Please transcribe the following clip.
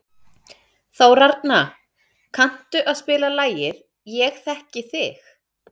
Þórarna, kanntu að spila lagið „Ég þekki þig“?